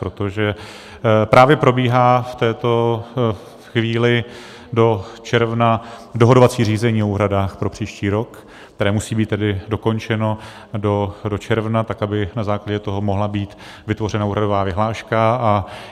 Protože právě probíhá v této chvíli do června dohadovací řízení o úhradách pro příští rok, které musí být tedy dokončeno do června, tak aby na základě toho mohla být vytvořena úhradová vyhláška.